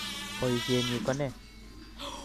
Boisienyi ko ne?